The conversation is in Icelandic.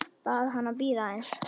Bað hana að bíða aðeins.